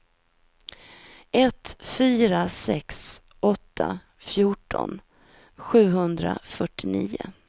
ett fyra sex åtta fjorton sjuhundrafyrtionio